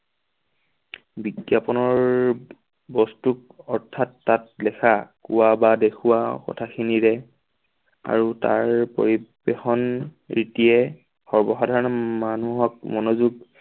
বিজ্ঞাপনৰ বস্তুক অৰ্থাৎ তাত লিখা কোৱা বা দেখুওৱা কথাখিনিৰে আৰু তাৰ পৰিৱেশন ৰীতিয়ে সৰ্বসাধাৰণ মানুহক মনোযোগ